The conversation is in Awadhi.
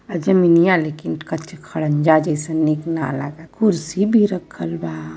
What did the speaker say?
आ जमीनिया लेकिन कच्चे खड़ंजा जइसेन नीक ना लगता। कुर्सी भी रखल बा।